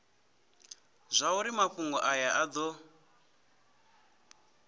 zwauri mafhungo aya a do